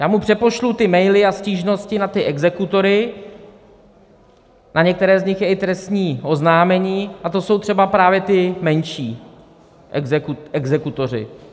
Já mu přepošlu ty maily a stížnosti na ty exekutory, na některé z nich je i trestní oznámení, a to jsou třeba právě ti menší exekutoři.